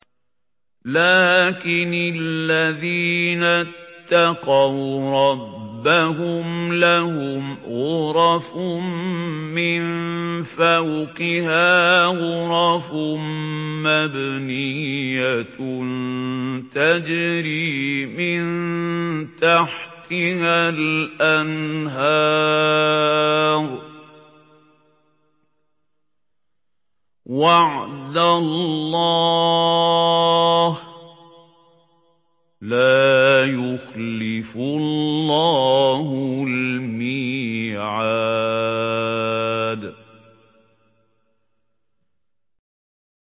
لَٰكِنِ الَّذِينَ اتَّقَوْا رَبَّهُمْ لَهُمْ غُرَفٌ مِّن فَوْقِهَا غُرَفٌ مَّبْنِيَّةٌ تَجْرِي مِن تَحْتِهَا الْأَنْهَارُ ۖ وَعْدَ اللَّهِ ۖ لَا يُخْلِفُ اللَّهُ الْمِيعَادَ